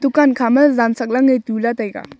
dukan kha ma jan chak lan tula taiga.